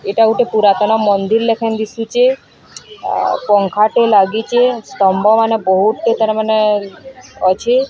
ଏଟା ଗୋଟେ ପୁରାତନ ମନ୍ଦିର୍ ଲେଖାଁନ୍ ଦିଶୁଚେ। ‌ ଆ ପଙ୍ଖାଟେ ଲାଗିଚେ। ସ୍ତମ୍ବମାନେ ବୋହୁତ୍ ଟେ ତାର ମାନେ ଅଛେ।